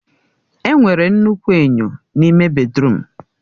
Enwere nnukwu enyo n'ime bèdrụm.